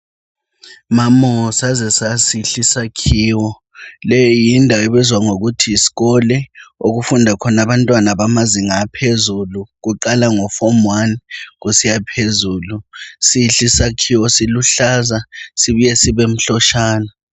Mamo saze sasihle isakhiwo. Leyi yindawo ebizwa ngokuthi yisikole, okufunda khona abantwana bamazinga laphezulu. Kuqala ngofomu wani kusiya phezulu. Sihle isakhiwo siluhlaza sibuye sibemhloshana.